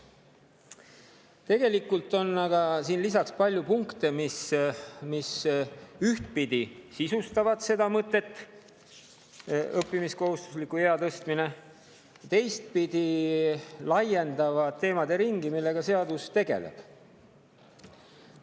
Tegelikult on aga siin lisaks palju punkte, mis ühtpidi sisustavad seda mõtet, õppimiskohustusliku ea tõstmist, ja teistpidi laiendavad teemade ringi, millega seadus tegeleb.